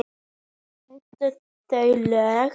Stenst það lög?